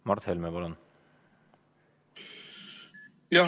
Mart Helme, palun!